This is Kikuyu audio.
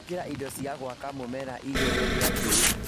Gwĩkĩra indo cia gwaka mũmera igĩrĩ rĩa tĩri